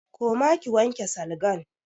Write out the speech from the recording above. Koma ki wanke salgan!